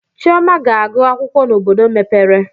Chioma ga-agụ akwụkwọ n'obodo mepere.